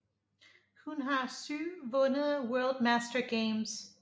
Hun har syv vundet World Master Games